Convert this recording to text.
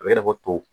A bɛ i n'a fɔ toto